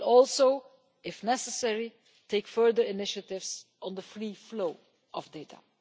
It will also, if necessary, take further initiatives on the free flow of data.